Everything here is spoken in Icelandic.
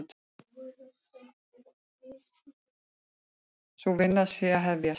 Sú vinna sé að hefjast.